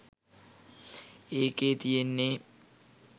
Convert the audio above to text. ඒකේ තියෙන්නෙ